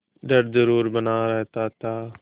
डर जरुर बना रहता था